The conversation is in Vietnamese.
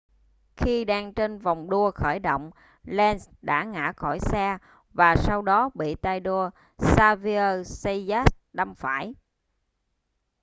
khi đang trên vòng đua khởi động lenz đã ngã khỏi xe và sau đó bị tay đua xavier zayat đâm phải